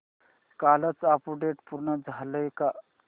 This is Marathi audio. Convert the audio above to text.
कालचं अपडेट पूर्ण झालंय का